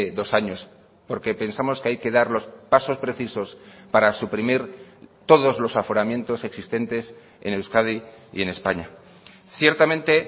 dos años porque pensamos que hay que dar los pasos precisos para suprimir todos los aforamientos existentes en euskadi y en españa ciertamente